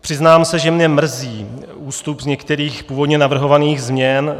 Přiznám se, že mě mrzí ústup z některých původně navrhovaných změn.